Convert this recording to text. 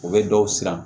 U bɛ dɔw siran